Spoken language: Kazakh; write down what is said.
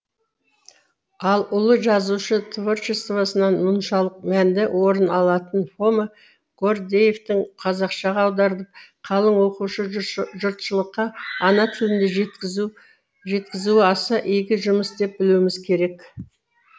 ал ұлы жазушы творчествосынан мұншалық мәнді орын алатын фома гордеевтің қазақшаға аударылып қалың оқушы жұртшылыққа ана тілінде жеткізуі аса игі жұмыс деп білуіміз керек